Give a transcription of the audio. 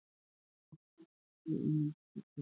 Vígjast til þjónustu í norsku kirkjunni